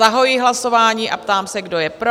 Zahajuji hlasování a ptám se, kdo je pro?